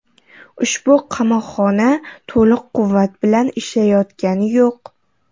Ushbu qamoqxona to‘liq quvvat bilan ishlayotgani yo‘q.